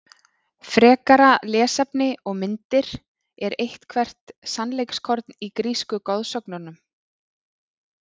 Frekara lesefni og myndir Er eitthvert sannleikskorn í grísku goðsögunum?